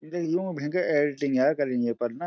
देखिती यून भेनकर एडिटिंग यार करीं येपर न।